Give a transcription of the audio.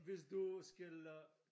Hvis du skal øh